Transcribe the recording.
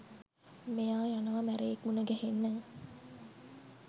මෙයා යනවා මැරයෙක් මුනගැහෙන්න.